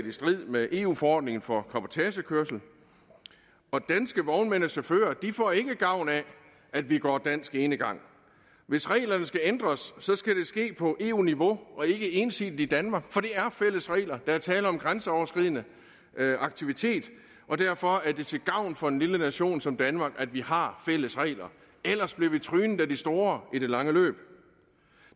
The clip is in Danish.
i strid med eu forordningen for cabotagekørsel og danske vognmænd og chauffører får ikke gavn af at vi går dansk enegang hvis reglerne skal ændres skal det ske på eu niveau og ikke ensidigt i danmark for det er fællesregler der er tale om en grænseoverskridende aktivitet og derfor er det til gavn for en lille nation som danmark at vi har fælles regler ellers bliver vi trynet af de store i det lange løb